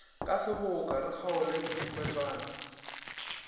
ka seboka re kgaole diketwane